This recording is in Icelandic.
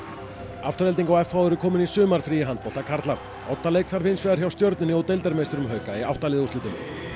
Afturelding og v eru komin í sumarfrí í handbolta karla oddaleik þarf hins vegar hjá stjörnunni og hauka í átta liða úrslitum